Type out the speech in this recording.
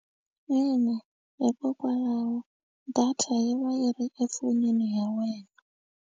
Ina hikokwalaho data yi va yi ri efonini ya wena.